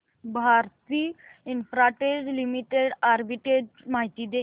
Bharti Infratel limited arbitrage माहिती दे